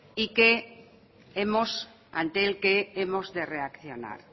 y ante el que hemos de reaccionar